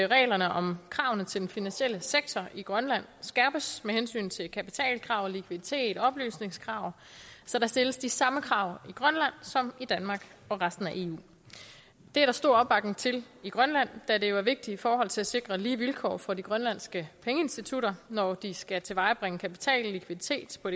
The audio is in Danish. at reglerne om kravene til den finansielle sektor i grønland skærpes med hensyn til kapitalkrav og likviditet og oplysningskrav så der stilles de samme krav i grønland som i danmark og resten af eu det er der stor opbakning til i grønland da det jo er vigtigt i forhold til at sikre lige vilkår for de grønlandske pengeinstitutter når de skal tilvejebringe kapital og likviditet på